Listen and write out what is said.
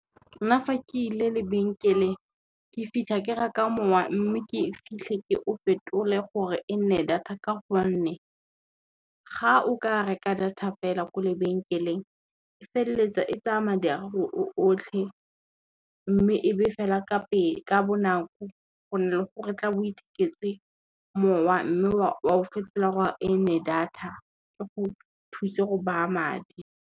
Nna fa ke ile lebenkeleng ke fitlha ke reka mowa, mme ke fitlhe ke o fetole gore e nne data ka gonne, ga o ka reka data fela ko lebenkeleng e feleletsa e tsaya madi a gago o otlhe, mme e be fela ka bonako go na le go re tla bo o itheketse mowa mme o a o fetola gore e nne data, e go thuse go baya madi.